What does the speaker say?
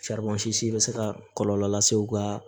bɛ se ka kɔlɔlɔ lase u ka